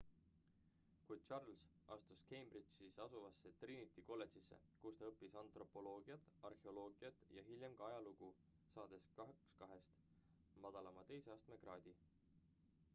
kuid charles astus cambridge'is asuvasse trinity kolledžisse kus ta õppis antropoloogiat arheoloogiat ja hiljem ka ajalugu saades 2:2 madalama teise astme kraadi